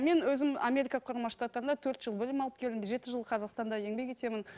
мен өзім америка құрама штаттарында төрт жыл білім алып келдім жеті жыл қазақстанда еңбек етемін